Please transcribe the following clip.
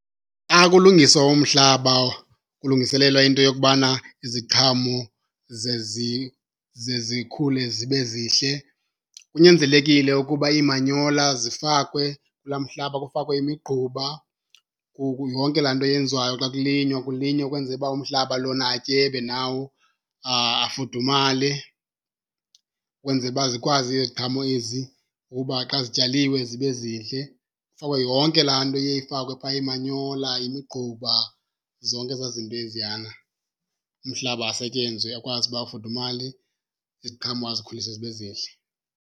Xa kulungiswa umhlaba kulungiselelwa into yokubana iziqhamo ze , ze zikhule zibe zihle kunyanzelekile ukuba iimanyola zifakwe kulaa mhlaba, kufakwe imigquba, yonke laa nto yenziwayo xa kulinywa kulinywe ukwenzela uba umhlaba lona atyebe nawo afudumale, kwenzela uba zikwazi iziqhamo ezi uba xa zityaliwe zibe zihle. Kufakwe yonke laa nto iye ifakwe phaa, iimanyola, imigquba, zonke ezaa zinto eziyana. Umhlaba asetyenzwe akwazi uba afudumale, iziqhamo azikhulise zibe zihle.